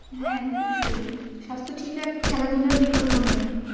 হ্যাঁ, অবশ্যই স্বাস্থ্য ঠিক রাখতে খেলা ধুলার বিকল্প নেই।